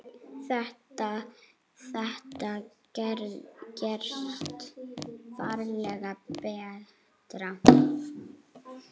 Þetta gerist varla betra.